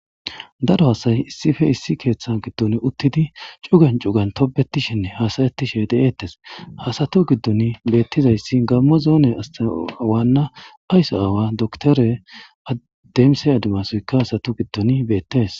daro hasay issife issi keeththa giddon uttidi cugan cugan tobetishenne hasayettishe de7eettes hasatu giddon beettizayssi gammo zoone asta awaanna ayso aawa doktore addemse adimasoyka hasatu giddon beettees